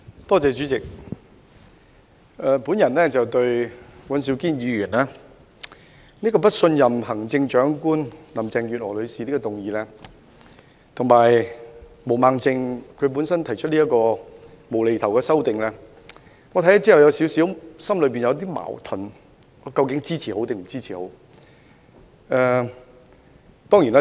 代理主席，對於尹兆堅議員提出的不信任行政長官林鄭月娥女士的議案，以及毛孟靜議員提出的"無厘頭"修正案，我看後感到有點矛盾，究竟應否支持呢？